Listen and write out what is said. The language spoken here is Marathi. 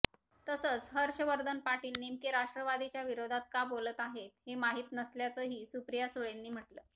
तसंच हर्षवर्धन पाटील नेमके राष्ट्रवादीच्या विरोधात का बोलत आहेत हे माहित नसल्याचंही सुप्रिया सुळेंनी म्हटलं